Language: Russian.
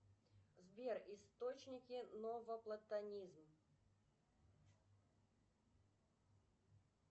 сбер источники новоплатонизм